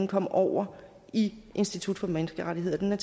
kom over i institut for menneskerettigheder